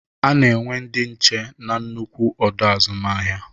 Ana enwe ndị nche n'nnukwu ọdọ azụmahịa.